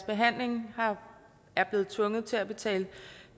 behandlingen er blevet tvunget til at betale